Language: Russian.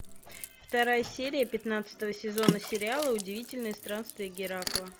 вторая серия пятнадцатого сезона сериала удивительные странствия геракла